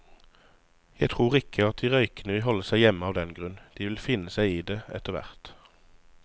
Jeg tror ikke at de røykende vil holde seg hjemme av den grunn, de vil finne seg i det etterhvert.